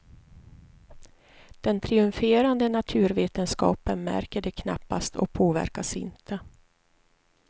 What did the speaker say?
Den triumferande naturvetenskapen märker det knappast och påverkas inte.